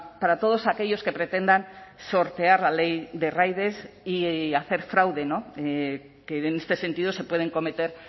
para todos aquellos que pretendan sortear la ley de riders y hacer fraude que en este sentido se pueden cometer